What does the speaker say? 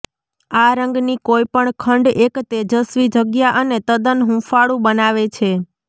આ રંગની કોઈપણ ખંડ એક તેજસ્વી જગ્યા અને તદ્દન હૂંફાળું બનાવે છે